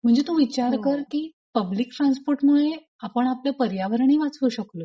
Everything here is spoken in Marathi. म्हणजे तू विचार कर की पब्लिक ट्रान्सपोर्ट मुळे आपण आपले पर्यावरणही वाचवू शकतो.